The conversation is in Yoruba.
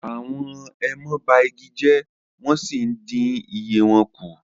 àwọn èèmọ ba igi jẹ wọn sìí ǹdin iye wọn ku